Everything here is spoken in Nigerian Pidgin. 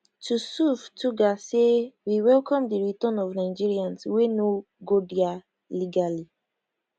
tusuf tuggar say we welcome di return of nigerians wey no go dia legally